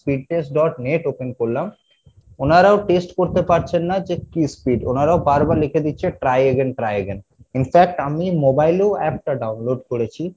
speed test dot net open করলাম ওনারাও test করতে পারছেন না যে কী speed ওনারা বার বার লিখে দিচ্ছে try again try again in fact আমি mobile এও app টা download করেছি